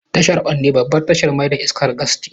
Tashar Onne babbar tashar mai da iskar gas ce.